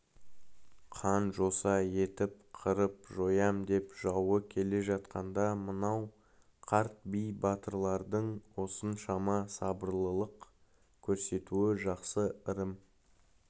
қан-жоса етіп қырып-жоям деп жауы келе жатқанда мынау қарт би батырлардың осыншама сабырлылық көрсетуі жақсы ырым